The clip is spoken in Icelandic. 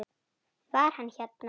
Var hann hérna?